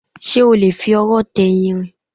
Ṣé o lè fi ọwọ́ tẹ irin?